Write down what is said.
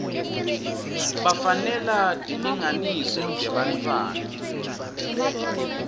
bafanelwa tilinganiso tebantfwana